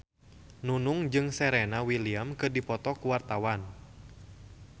Nunung jeung Serena Williams keur dipoto ku wartawan